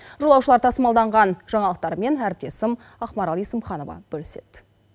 жолаушылар тасымалданған жаңалықтармен әріптесім ақмарал есімханова бөліседі